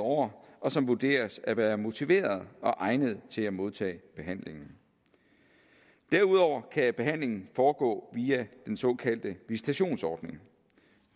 år og som vurderes at være motiverede og egnede til at modtage behandling derudover kan behandling foregå via den såkaldte visitationsordning